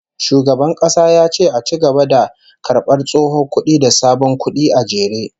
Shugaban kasa ya ce a ci gaba da karbar tsohon kudi da sabon kudi a jere